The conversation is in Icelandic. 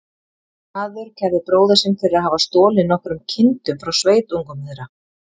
Maður kærði bróður sinn fyrir að hafa stolið nokkrum kindum frá sveitungum þeirra.